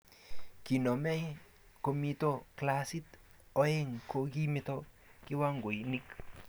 koname komito klasit oeng ko kimito kiwangoinik